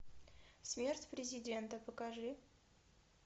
смерть президента покажи